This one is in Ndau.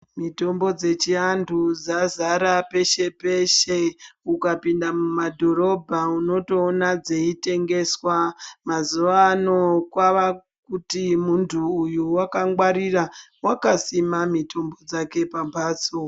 Mitombo chechiantu dzazara peshe peshe, ukapinda mumadhorobha unotoona dzeitengeswa. Mazuva ano kwava kuti muntu uyu wakangwarira wakasima mitombo yake pamhatso.